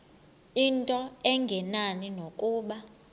into engenani nokuba